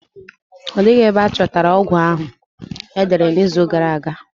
Ọ dịghị ebe a chọtara ọgwụ ahụ e dere n'izu gara aga.